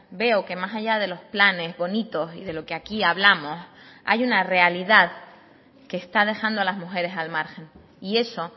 veo que más allá de los planes bonitos y de lo que aquí hablamos hay una realidad que está dejando a las mujeres al margen y eso